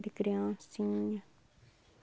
De criancinha.